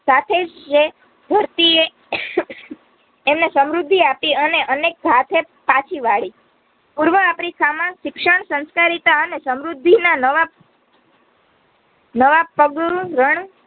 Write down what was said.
સાથેજ જે ધરતીએ એમને સમૃદ્ધિ આપી અને અનેક હાથે પાછી વાડી. પૂર્વ આફ્રિકામાં શિક્ષણ સંસ્કારિતા અને સમૃદ્ધિના નવા નવા પગ અ રણ